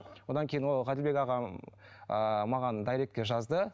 одан кейін ол ғаділбек ағам ыыы маған дайректке жазды